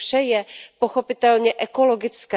To vše je pochopitelně ekologické.